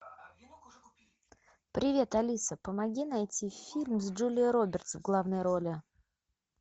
привет алиса помоги найти фильм с джулией робертс в главной роли